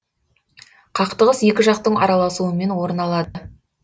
қақтығыс екі жақтың араласуымен орын алады